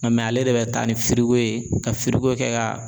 Nka ale le bɛ taa ni firigo ye ka firigo kɛ